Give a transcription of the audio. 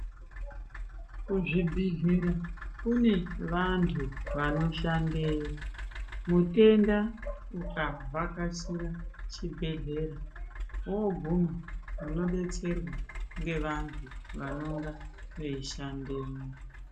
Kuzvibhedhlera kune vantu vanoshandeyo mutenda ukavhakachira chibhedhlera woguma unodetserwa nevantu vanonga veishandamwo.